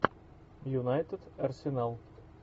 юнайтед арсенал